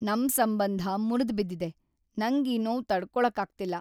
ನಮ್ ಸಂಬಂಧ ಮುರ್ದ್‌ಬಿದ್ದಿದೆ, ನಂಗೀ ನೋವ್‌ ತಡ್ಕೊಳಕ್ಕಾಗ್ತಿಲ್ಲ.